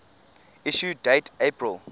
issue date april